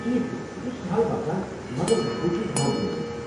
ٹھیٖک چھُ، یہ چھُ سہل باسان مگر بہٕ چُھس بامبریومٗت ۔